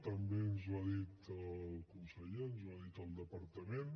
també ens ho ha dit el conseller ens ho ha dit el departament